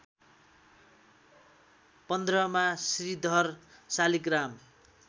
पन्द्रमा Shridhar Shaligram